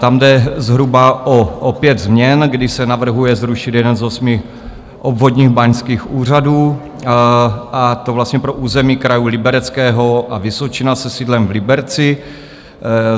Tam jde zhruba o pět změn, kdy se navrhuje zrušit jeden z osmi obvodních báňských úřadů, a to vlastně pro území krajů Libereckého a Vysočina se sídlem v Liberci.